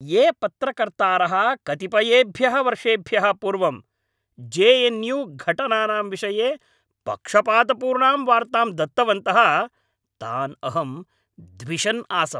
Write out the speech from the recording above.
ये पत्रकर्तारः कतिपयेभ्यः वर्षेभ्यः पूर्वं जे एन् यू घटनानां विषये पक्षपातपूर्णां वार्तां दत्तवन्तः तान् अहं द्विषन् आसम्।